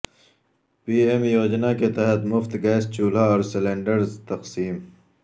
پی M یوجنا کے تحت مفت گیس چولہا اور سلینڈر تقسیم